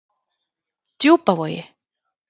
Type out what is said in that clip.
Djúpavogi